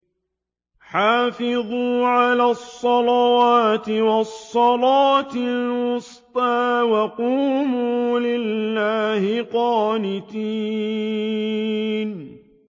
حَافِظُوا عَلَى الصَّلَوَاتِ وَالصَّلَاةِ الْوُسْطَىٰ وَقُومُوا لِلَّهِ قَانِتِينَ